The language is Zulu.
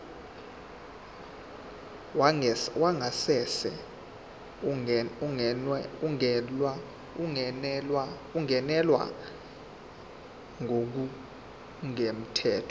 wangasese ungenelwe ngokungemthetho